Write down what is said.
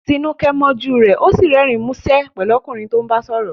Tinuke mọ́jú rẹ, ó sì rẹ́rìn-ín músẹ́ pẹ̀lú ọkùnrin tó ń bá sọ̀rọ̀.